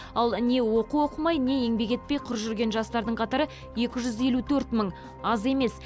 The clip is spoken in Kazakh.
ал не оқу оқымай не еңбек етпей құр жүрген жастардың қатары екі жүз елу төрт мың аз емес